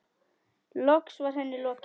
Loks var henni lokið.